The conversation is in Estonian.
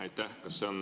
Aitäh!